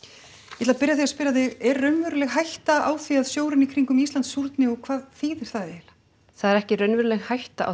ég ætla að byrja á því að spyrja þig er raunveruleg hætta á því að sjórinn í kringum Ísland súrni og hvað þýðir það eiginlega það er ekki raunveruleg hætta á